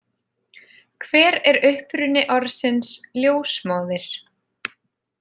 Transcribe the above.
Hver er uppruni orðsins ljósmóðir?